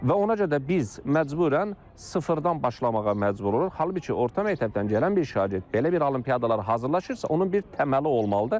Və ona görə də biz məcbürən sıfırdan başlamağa məcbur oluruq, halbuki orta məktəbdən gələn bir şagird belə bir olimpiadalara hazırlaşırsa, onun bir təməli olmalıdır.